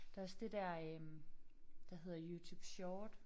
Der også det der øh der hedder YouTube Short